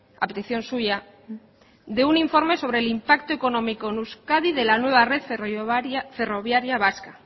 a petición suya de un informe sobre el impacto económico en euskadi de la nueva red ferroviaria vasca